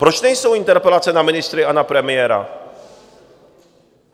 Proč nejsou interpelace na ministry a na premiéra?